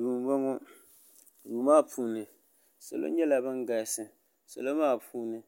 duu n boŋo duu maa puuni salo nyɛla bin galisi salo maa puuni